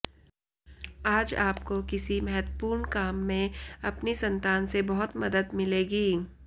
आज आपको किसी महत्वपूर्ण काम में अपनी संतान से बहुत मदद मिलेगी